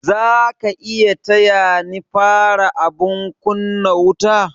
Zaka iya taya ni fara abun kunna wuta?